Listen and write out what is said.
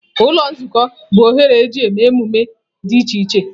Ụlọ Nzukọ bụ oghere eji eme mmemme dị iche iche.